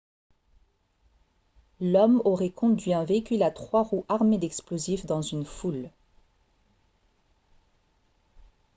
l'homme aurait conduit un véhicule à trois roues armé d'explosifs dans une foule